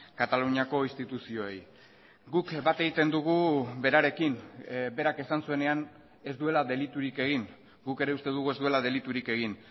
kataluniako instituzioei guk bat egiten dugu berarekin berak esan zuenean ez duela deliturik egin guk ere uste dugu ez duela deliturik egin